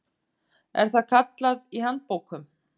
er það kallað í handbókum.